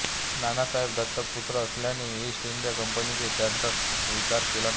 नानासाहेब दत्तक पुत्र असल्याने ईस्ट इंडिया कंपनीने त्यांचा स्वीकार केला नाही